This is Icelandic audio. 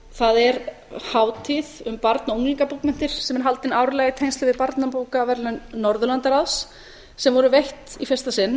það er hátíð um barna og unglingabókmenntir sem er haldin árlega í tengslum við barnabókaverðlaun norðurlandaráðs sem voru veitt í fyrsta sinn